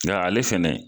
Nga ale fɛnɛ